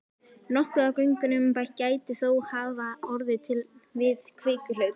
Nokkuð af göngunum gæti þó hafa orðið til við kvikuhlaup.